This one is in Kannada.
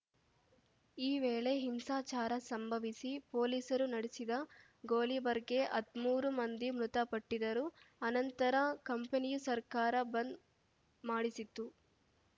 ಈ ವೇಳೆ ಹಿಂಸಾಚಾರ ಸಂಭವಿಸಿ ಪೊಲೀಸರು ನಡೆಸಿದ ಗೋಲಿಬಾರ್‌ಗೆ ಹದ್ಮೂರು ಮಂದಿ ಮೃತಪಟ್ಟಿದರು ಆ ನಂತರ ಕಂಪನಿಯು ಸರ್ಕಾರ ಬಂದ್‌ ಮಾಡಿಸಿತ್ತು